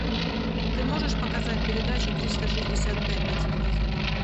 ты можешь показать передачу триста шестьдесят пять на телевизоре